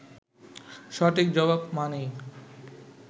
সঠিক জবাব মানেই